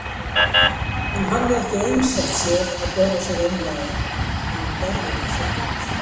Hann hafði ekki einsett sér að bera sig aumlega en hann gerði það samt.